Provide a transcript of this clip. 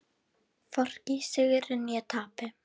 Hvorki í sigri né tapi.